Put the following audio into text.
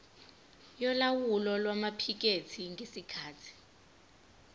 yolawulo lwamaphikethi ngesikhathi